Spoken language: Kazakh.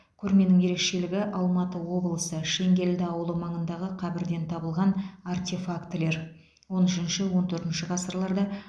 көрменің ерекшелігі алматы облысы шеңгелді ауылы маңындағы қабірден табылған артефактілер он үшінші он төртінші ғасырларда